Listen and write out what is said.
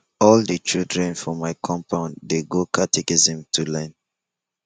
all di children for my compound dey go catechism to learn